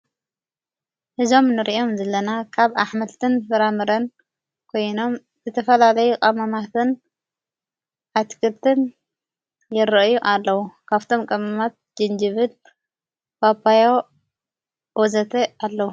እዞም ንርእኦም ዘለና ካብ ኣኅመልትን ፍራምረን ኮይኖም ዘተፈላለይ ቀመማትን ኣትክርትን የርአዩ ኣለዉ ካፍቶም ቀመማት ጅንጅብድ ባጳዮ ወዘተ ኣለዉ።